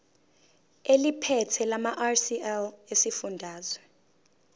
eliphethe lamarcl esifundazwe